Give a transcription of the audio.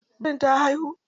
Birin ta haihu?